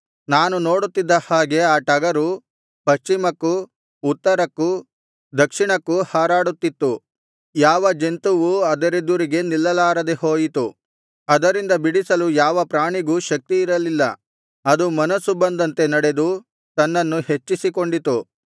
ನಾನು ನೋಡುತ್ತಿದ್ದ ಹಾಗೆ ಆ ಟಗರು ಪಶ್ಚಿಮಕ್ಕೂ ಉತ್ತರಕ್ಕೂ ದಕ್ಷಿಣಕ್ಕೂ ಹಾರಾಡುತ್ತಿತ್ತು ಯಾವ ಜಂತುವೂ ಅದರೆದುರಿಗೆ ನಿಲ್ಲಲಾರದೆ ಹೋಯಿತು ಅದರಿಂದ ಬಿಡಿಸಲು ಯಾವ ಪ್ರಾಣಿಗೂ ಶಕ್ತಿಯಿರಲಿಲ್ಲ ಅದು ಮನಸ್ಸು ಬಂದಂತೆ ನಡೆದು ತನ್ನನ್ನು ಹೆಚ್ಚಿಸಿಕೊಂಡಿತು